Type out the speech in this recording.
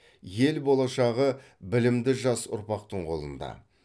ел болашағы білімді жас ұрпақтың қолында